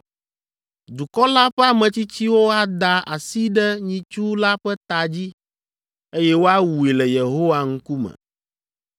Dukɔ la ƒe ametsitsiwo ada asi ɖe nyitsu la ƒe ta dzi, eye woawui le Yehowa ŋkume.